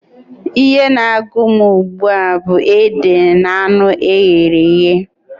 Ihe na-agụ m ugbua bụ ede na anụ eghere eghe.